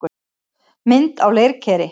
Mynd á leirkeri.